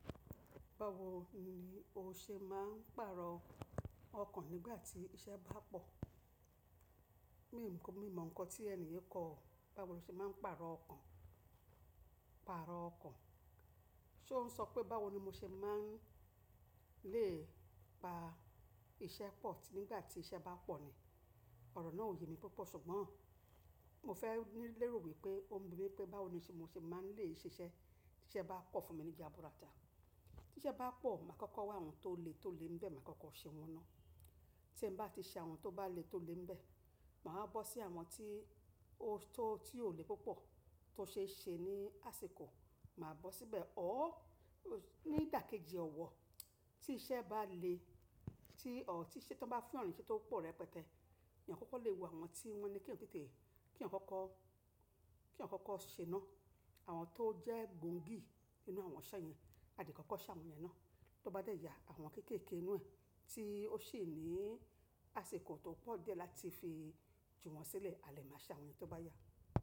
Báwo ni o ṣe máa ń pàrọ̀ ọkàn nígbà tí iṣẹ́ bá pọ̀? Mi mọ ǹkan tí ènìyàn kọ, báwo ni o ṣe máa ń pàrọ̀ ọkàn, pàrọ̀ ọkàn. Sé ó ń sọ pé báwo ni mo ṣe máa ń lè pa iṣẹ́ pọ̀ nígbà tí iṣẹ́ bá pọ̀ ni? Òrò náà ò ye mi púpọ̀, ṣùgbọ́n mo fẹ́ ní lérò wípé ó ń bi mí pé báwo ni mo ṣe máa ń lè ṣiṣẹ́ tí iṣẹ́ bá pọ̀ fún mi ní ìjábúra ta. Tí iṣẹ́ bá pọ̀, màá kọ́kọ́ wa àwọn tó le, tó lè ń bẹ, màá kọ́kọ́ ṣe wọ́n ná. Tí m bá ti ṣe àwọn tó bá le, tó lè ń bẹ, màá bọ́ sí àwọn tí ó lè púpọ̀ tó ṣe ṣe ní àsìkò, màá bọ́ síbẹ̀. Ó, ní ìdàkejì ọ̀wọ̀, tí iṣẹ́ bá le, tí iṣẹ́ tó bá fún yan nise tó pọ̀ rẹ pẹtẹ́, ènìyàn kọ́kọ́ lè wo àwọn tí wọ́n ní kí wọ́n tètè, kí àwọn kọ́kọ́, kí àwọn kọ́kọ́ ṣe ná. Àwọn tó jẹ́ gbòǹgì nínú àwọn iṣẹ́ yẹn, a lè kọ́kọ́ ṣe àwọn yẹn ná. Tó bá dẹ̀ ya àwọn kéékèèké nínú ẹ̀, tí ó ṣe ní àsìkò tó pọ̀ diẹ́ láti fi jù wọ́n sílẹ̀, a lè máa ṣe àwọn yẹn tó bá yá.